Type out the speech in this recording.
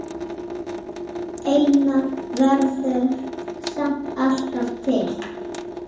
Einar verður samt alltaf til.